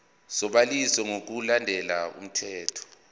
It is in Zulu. sobhaliso ngokulandela umthetho